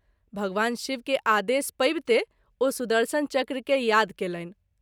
भगवान शिव के आदेश पाबिते ओ सुदर्शन चक्र के याद कएलनि।